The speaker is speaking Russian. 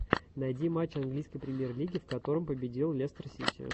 найди матч английской премьер лиги в котором победил лестер сити